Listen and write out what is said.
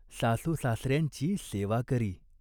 सासूसासऱ्यांची सेवा करी.